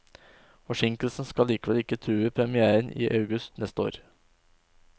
Forsinkelsen skal likevel ikke true premièren i august neste år.